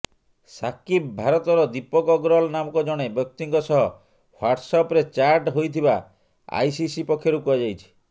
ସାକିବ୍ ଭାରତର ଦୀପକ ଅଗ୍ରୱାଲ ନାମକ ଜଣେ ବ୍ୟକ୍ତିଙ୍କ ସହ ହ୍ୱାଟ୍ସଆପରେ ଚାଟ୍ ହୋଇଥିବା ଆଇସିସି ପକ୍ଷରୁ କୁହାଯାଇଛି